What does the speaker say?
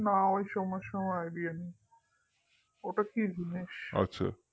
না ওই সমস্ত নিয়ে আমার কোন idea নেই ওটা কি জিনিস